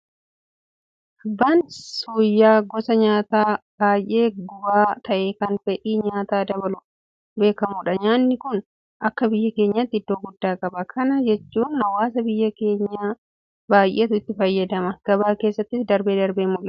Abbaan suuyyaa gosa nyaataa baay'ee gubaa ta'e kan fedhii nyaataa dabaluudhaan beekamudha. Nyaanni kun akka biyya keenyaatti iddoo guddaa qaba. Kana jechuun hawaasa biyya kanaa baay'eetu itti fayyama. Gabaa keessattis darbee darbee nimul'ata.